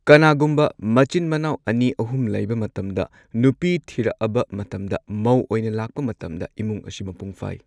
ꯀꯅꯥꯒꯨꯝꯕ ꯃꯆꯤꯟ ꯃꯅꯥꯎ ꯑꯅꯤ ꯑꯍꯨꯝ ꯂꯩꯕ ꯃꯇꯝꯗ ꯅꯨꯄꯤ ꯊꯤꯔꯛꯑꯕ ꯃꯇꯝꯗ ꯃꯧ ꯑꯣꯏꯅ ꯂꯥꯛꯄ ꯃꯇꯝꯗ ꯏꯃꯨꯡ ꯑꯁꯤ ꯃꯄꯨꯡ ꯐꯥꯏ꯫